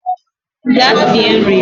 Gaa sie nri!